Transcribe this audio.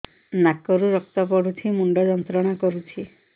ନାକ ରୁ ରକ୍ତ ପଡ଼ୁଛି ମୁଣ୍ଡ ଯନ୍ତ୍ରଣା କରୁଛି